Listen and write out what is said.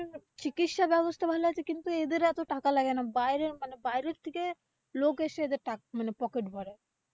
চিকিৎসাব্যবস্থা ভালো আছে কিন্তু এদের এত taka লাগে না বাইরে মানে বাইরে থেকে লোক এসে এদের taka মানে পকেট ভরে।